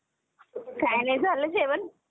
काय नाही झालं जेवण ?